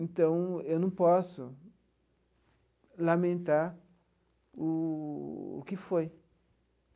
Então, eu não posso lamentar o o que foi.